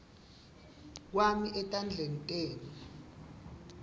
kwami etandleni tenu